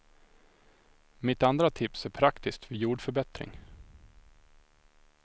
Mitt andra tips är praktiskt vid jordförbättring.